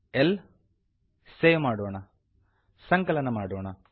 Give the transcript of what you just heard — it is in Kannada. ಲ್ ಸೇವ್ ಮಾಡೋಣ ಸಂಕಲನ ಮಾಡೋಣ